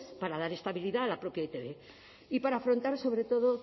para dar estabilidad a la propia e i te be y para afrontar sobre todo